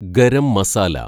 garam masala